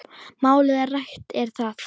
Málið rætt er þar.